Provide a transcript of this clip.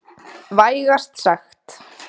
Vægast sagt.